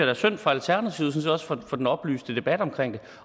er synd for alternativet set også for den oplyste debat